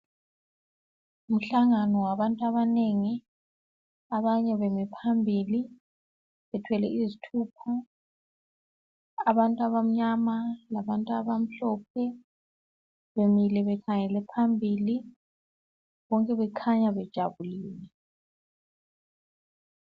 nguhlangano wabantu abanengi abanye bemi phambili bethwele izithupha abantu abamnyama labantu abamhlophe bemile bekhangele phambili bonke bekhanya bejabulile